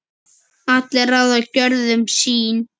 allir ráða gjörðum sín